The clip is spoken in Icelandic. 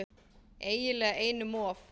Eiginlega einum of